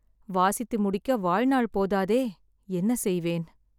வாசித்து முடிக்க வாழ்நாள் போதாதே! என்ன செய்வேன்?